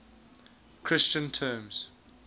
christian terms